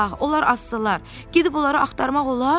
Onlar azsalar, gedib onları axtarmaq olar?